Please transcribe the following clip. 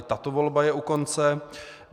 I tato volba je u konce.